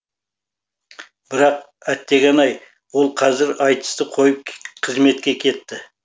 бірақ әттеген ай ол қазір айтысты қойып қызметке кетті